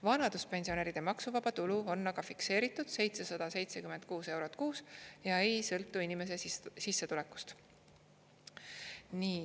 Vanaduspensionäride maksuvaba tulu on aga fikseeritud 776 eurot kuus ja ei sõltu inimese sissetulekust.